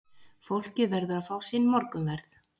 Fólkið verður að fá sinn morgunverð.